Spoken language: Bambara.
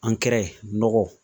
nɔgɔ